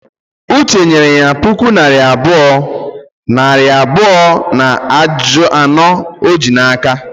Uche nyere ya puku naira abụọ, nari abụọ na anọ o ji n'aka